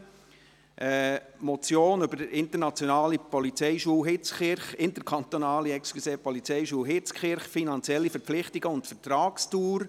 Es ist die Motion zum Thema «Interkantonale Polizeischule Hitzkirch: Finanzielle Verpflichtungen und Vertragsdauer».